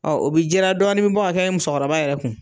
Ɔn o bi jiran, dɔɔni bi bɔ ka kɛ musokɔrɔba yɛrɛ kun.